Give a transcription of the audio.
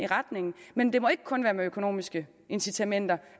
retning men det må ikke kun være med økonomiske incitamenter